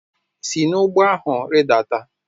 Si n'ụgbọ ahụ rịdata!